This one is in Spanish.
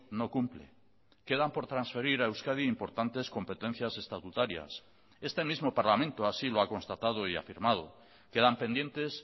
no cumple quedan por transferir a euskadi importantes competencias estatutarias este mismo parlamento así lo ha constatado y afirmado quedan pendientes